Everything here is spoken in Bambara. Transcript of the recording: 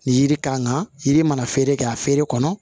Ni yiri kan ka yiri mana feere kɛ a feere kɔnɔ